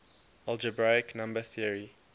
algebraic number theory